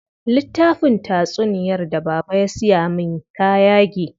Littafin tatsunyar da baba ya siya min ta yage.